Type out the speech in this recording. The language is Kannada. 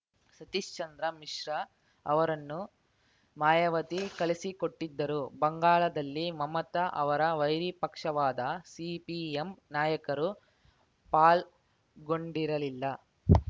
ಸತೀಶ್‌ಚಂದ್ರ ಮಿಶ್ರಾ ಅವರನ್ನು ಮಾಯಾವತಿ ಕಳಿಸಿಕೊಟ್ಟಿದ್ದರು ಬಂಗಾಳದಲ್ಲಿ ಮಮತಾ ಅವರ ವೈರಿ ಪಕ್ಷವಾದ ಸಿಪಿಎಂ ನಾಯಕರೂ ಪಾಲ್ಗೊಂಡಿರಲಿಲ್ಲ